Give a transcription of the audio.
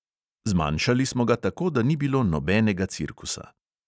Zmanjšali smo ga tako, da ni bilo nobenega cirkusa.